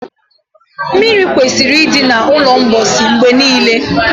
mmiri kwesịrị ịdị na ulo mposi mgbe niile